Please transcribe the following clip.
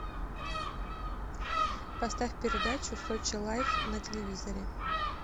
поставь передачу сочи лайф на телевизоре